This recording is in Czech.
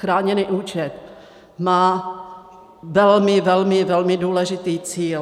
Chráněný účet má velmi, velmi, velmi důležitý cíl.